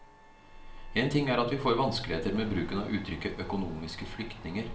En ting er at vi får vanskeligheter med bruken av uttrykket økonomiske flyktninger.